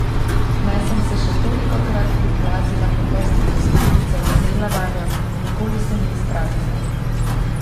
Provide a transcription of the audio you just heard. Naj sem se še tolikokrat priplazila po prstih do skledice in segla vanjo, nikoli se ni izpraznila.